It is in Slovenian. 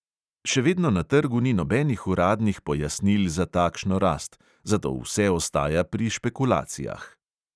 Še vedno na trgu ni nobenih uradnih pojasnil za takšno rast, zato vse ostaja pri špekulacijah.